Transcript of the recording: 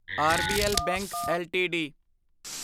RBL bank LTD